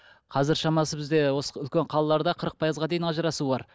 қазір шамасы бізде осы үлкен қалаларда қырық пайызға дейін ажырасу бар